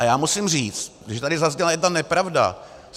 A já musím říct, že tady zazněla jedna nepravda.